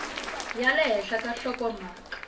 ya le henhla ka nhlokomhaka